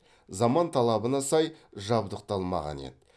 заман талабына сай жабдықталмаған еді